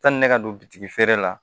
Sani ne ka don bitigi feere la